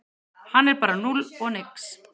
Hann er bara núll og nix